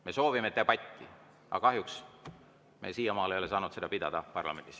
Me soovime debatti, aga kahjuks me siiamaani ei ole saanud seda parlamendis pidada.